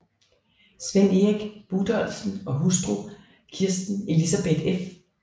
Svend Erik Budolfsen og hustru Kirsten Elisabeth f